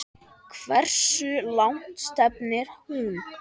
Hversu langt stefnir hún?